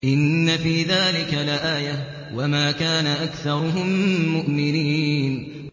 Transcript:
إِنَّ فِي ذَٰلِكَ لَآيَةً ۖ وَمَا كَانَ أَكْثَرُهُم مُّؤْمِنِينَ